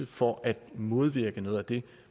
for at modvirke noget af det